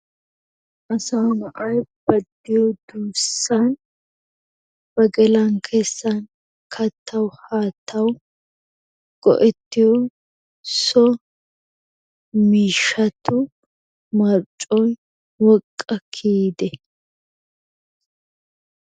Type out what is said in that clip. Asaa na'ay ba diyo duussan ba gelan kessan kattawu haattawu go'ettiyo so miishshatu marccoy woqqa kiyide?